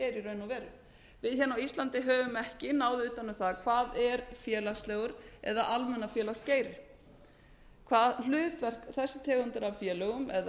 veru við hérna á íslandi höfum ekki náð utan um það hvað er félagslegur eða almennur félagsgeiri hvaða hlutverk þessi tegund af félögum